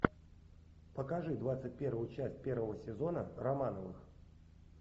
покажи двадцать первую часть первого сезона романовых